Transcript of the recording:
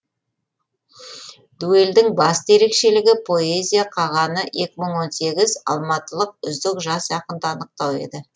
дуэльдің басты ерекшелігі поэзия қағаны екі мың он сегіз алматылық үздік жас ақынды анықтау еді